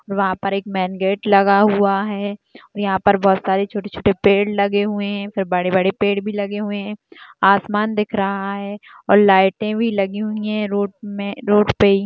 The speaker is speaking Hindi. वहां पर एक मैन गेट लगा हुआ हैं और यहां पर बहुत सारी छोटे-छोटे पेड़ लगे हुए हैं फिर बड़े-बड़े भी पेड़ लगे हुए हैं आसमान दिख रहा हैं और लाइटें भी लगी हुई हैं रोड मे रोड पे --